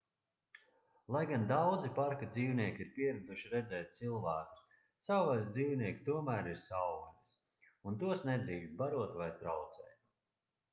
lai gan daudzi parka dzīvnieki ir pieraduši redzēt cilvēkus savvaļas dzīvnieki tomēr ir savvaļas un tos nedrīkst barot vai traucēt